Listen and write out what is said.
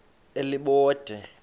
elibode